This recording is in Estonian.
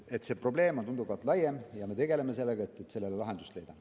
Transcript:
See probleem on tunduvalt laiem ja me tegeleme sellega, et lahendust leida.